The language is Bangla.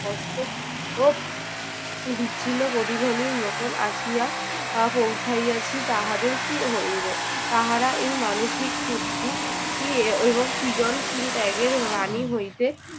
কষ্ট ও বিচ্ছিন্ন প্রতিধ্বনির মতন আসিয়া আহ পৌঁছাইয়াছি তাহাদের কী হইবে? তাহারা এই মানুষিক শুদ্ধি এর এবং সৃজনশীল ত্যাগের বাণী হইতে